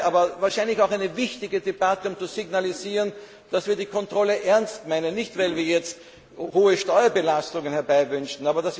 worden, aber es ist wahrscheinlich auch eine wichtige Debatte, um zu signalisieren, dass wir es mit der Kontrolle ernst meinen, nicht weil wir jetzt hohe Steuerbelastungen herbeiwünschen.